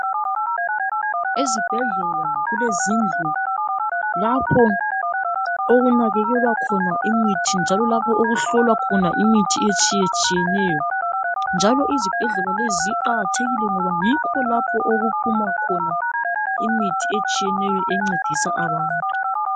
Ezibhedlela kulezindlu lapho okunakekelewa khona imithi njalo lapho okuhlolwa khona imithi etshiyetshiyeneyo njalo izibhedlela lezi ziqakathekile ngoba yikho lapho okuphuma khona imithi etshiyeneyo encedisa abantu.